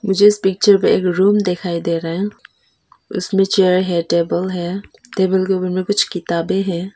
मुझे इस पिक्चर में एक रूम दिखाई दे रहा है उसमें चेयर है टेबल है टेबल के ऊपर में कुछ किताबें हैं।